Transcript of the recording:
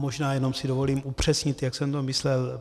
Možná jen si dovolím upřesnit, jak jsem to myslel.